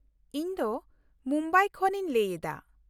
ᱤᱧ ᱫᱚ ᱢᱩᱢᱵᱟᱭ ᱠᱷᱚᱱ ᱤᱧ ᱞᱟᱹᱭ ᱮᱫᱟ ᱾